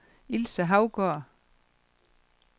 Ilse Haugaard